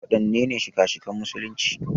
Waɗannene shika-shikan musulunci?